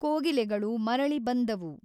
ಕೋಗಿಲೆಗಳು ಮರಳಿ ಬಂದವು.